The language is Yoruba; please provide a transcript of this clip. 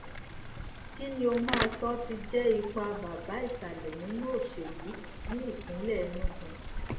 kí ni o máa sọ tí jẹ ipa bàbá ìsàlẹ nínú òsèlú ní ìpínlẹ enugu